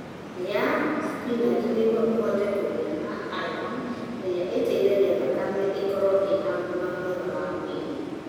Raĩ thibinaji nĩguo ũhote kũgĩa na iron ĩrĩa ĩteithagia thakame ĩkorũo ĩrĩ na ũgima mwega wa mwĩrĩ.